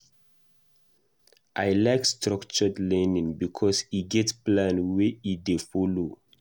I like structured learning because e get plan wey e dey folo.